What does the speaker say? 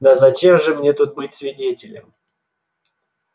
да зачем же мне тут быть свидетелем